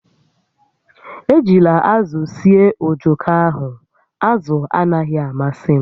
Ejila azụ sie ojoko ahụ, azụ anaghị amasị m!